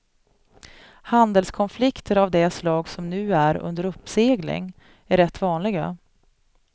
Handelskonflikter av det slag som nu är under uppsegling är rätt vanliga.